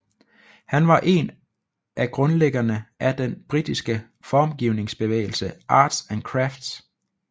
Han var en af grundlæggerne af den britiske formgivningsbevægelse Arts and Crafts